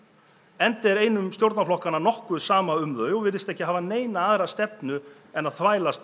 enda er einum stjórnarflokkanna nokkuð sama um þau og virðist ekki hafa aðra stefnu en þvælast